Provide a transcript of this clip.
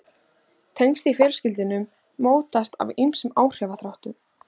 Tengsl í fjölskyldum mótast af ýmsum áhrifaþáttum.